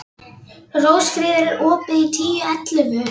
Rósfríður, er opið í Tíu ellefu?